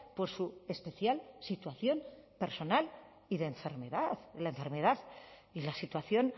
por su especial situación personal y de enfermedad de la enfermedad y la situación